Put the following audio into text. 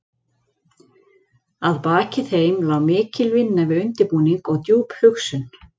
Að baki þeim lá mikil vinna við undirbúning og djúp hugsun.